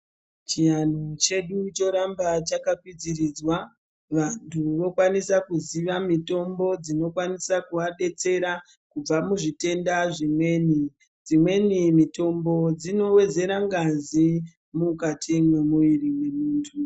Chianhu chedu choramba chakakwidziridzwa vantu vokwanisa kuziva mitombo dzinokwanisa kuvabetsera kubva muzvitenda zvimweni. Dzimweni mitombo dzinowedzera ngazi mukati mwemuviri mwemuntu.